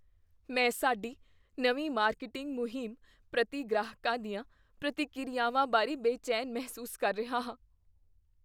ਮੈਂ ਸਾਡੀ ਨਵੀਂ ਮਾਰਕੀਟਿੰਗ ਮੁਹਿੰਮ ਪ੍ਰਤੀ ਗ੍ਰਾਹਕਾਂ ਦੀਆਂ ਪ੍ਰਤੀਕ੍ਰਿਆਵਾਂ ਬਾਰੇ ਬੇਚੈਨ ਮਹਿਸੂਸ ਕਰ ਰਿਹਾ ਹਾਂ।